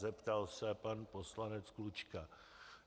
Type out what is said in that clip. zeptal se pan poslanec Klučka.